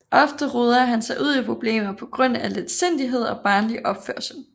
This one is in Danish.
Ofte roder han sig ud i problemer på grund af letsindighed og barnlig opførsel